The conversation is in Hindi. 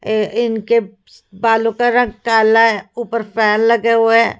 इनके बालों का रंग काला है ऊपर फैन लगे हुए हैं।